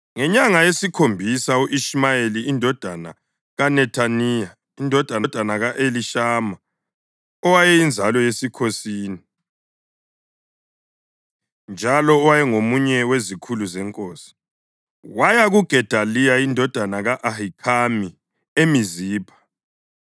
Ngenyanga yesikhombisa u-Ishumayeli indodana kaNethaniya, indodana ka-Elishama, owayeyinzalo yesikhosini, njalo owayengomunye wezikhulu zenkosi, waya kuGedaliya indodana ka-Ahikhami eMizipha